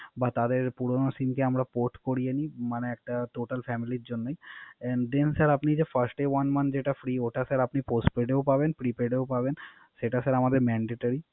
বা তাদের পুরানো SIM কে আমরা Port করিয়ে নই। মানে একটা Total family র জন্য। And then যে স্যার আপনি যে First one month free ওটা postpaid ও পাবেন, Prepaid ও পাবেন সেটা স্যার আমদের Mandatory